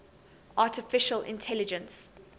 artificial intelligence